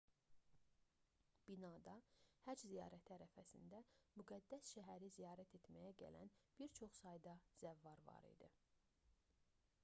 binada həcc ziyarəti ərəfəsində müqəddəs şəhəri ziyarət etməyə gələn bir çox sayda zəvvar var idi